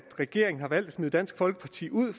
regeringen har valgt at smide dansk folkeparti ud